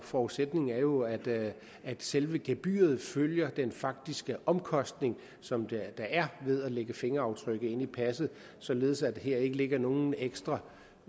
forudsætningen er jo at at selve gebyret følger den faktiske omkostning som der er ved at lægge fingeraftryk ind i passet således at der ikke her ligger nogen ekstra